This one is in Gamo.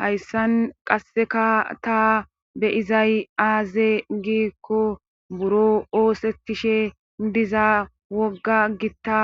hayssan qasseka ta beyizay aaze giikko buro oosettishe diza wogga gitta